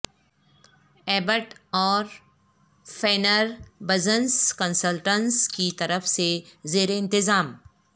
Abbott اور Fenner business consultants کی طرف سے زیر انتظام